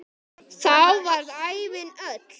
Þá varð ævin öll.